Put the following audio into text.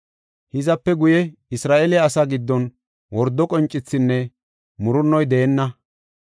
Hizape guye Isra7eele asaa giddon wordo qoncethinne murunno deenna.